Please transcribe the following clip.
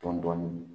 Dɔɔnin dɔɔnin